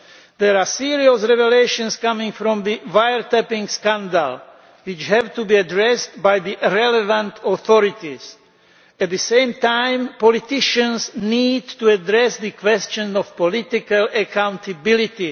There are serious revelations coming from the wire tapping scandal which have to be addressed by the relevant authorities. At the same time, politicians need to address the question of political accountability.